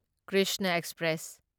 Krishna express